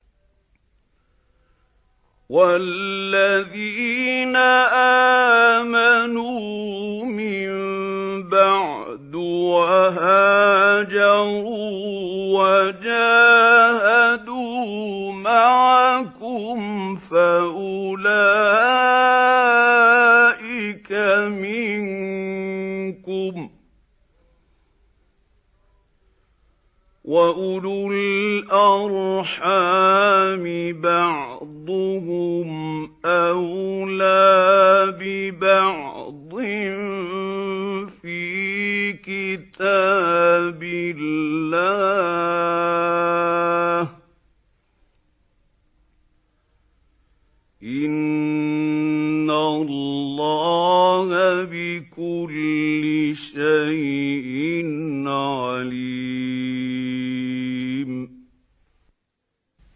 وَالَّذِينَ آمَنُوا مِن بَعْدُ وَهَاجَرُوا وَجَاهَدُوا مَعَكُمْ فَأُولَٰئِكَ مِنكُمْ ۚ وَأُولُو الْأَرْحَامِ بَعْضُهُمْ أَوْلَىٰ بِبَعْضٍ فِي كِتَابِ اللَّهِ ۗ إِنَّ اللَّهَ بِكُلِّ شَيْءٍ عَلِيمٌ